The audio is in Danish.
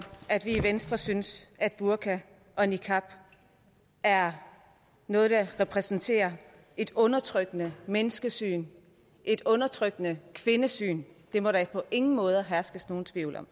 at vi i venstre synes at burka og niqab er noget der repræsenterer et undertrykkende menneskesyn et undertrykkende kvindesyn det må der på ingen måde herske nogen tvivl om